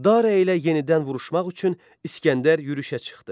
Dara ilə yenidən vuruşmaq üçün İsgəndər yürüşə çıxdı.